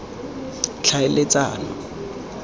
tlhaeletsano